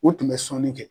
U tun bɛ sɔnni kɛ